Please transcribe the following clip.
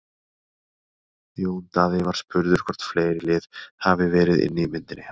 Jón Daði var spurður hvort fleiri lið hafi verið inni í myndinni hjá honum?